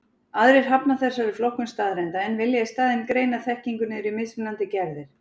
Aðrir hafna þessari flokkun staðreynda, en vilja í staðinn greina þekkingu niður í mismunandi gerðir.